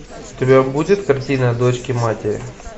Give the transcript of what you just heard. у тебя будет картина дочки матери